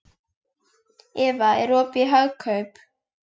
Eva, er opið í Hagkaup?